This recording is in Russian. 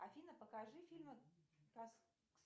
афина покажи фильмы